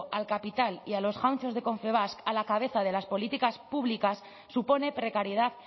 al capital y a los jauntxos de confebask a la cabeza de las políticas públicas supone precariedad